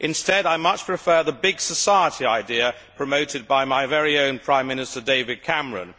Instead I much prefer the big society idea promoted by my very own Prime Minister, David Cameron.